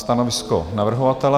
Stanovisko navrhovatele?